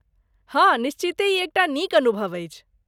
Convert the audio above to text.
हँ, निश्चिते ई एकटा अनुभव अछि।